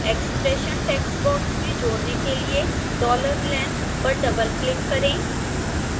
expression text box में जोड़ने के लिए $length पर डबलक्लिक करें